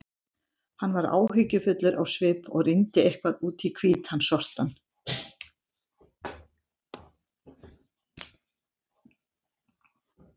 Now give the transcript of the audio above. Hann var áhyggjufullur á svip og rýndi eitthvað út í hvítan sortann.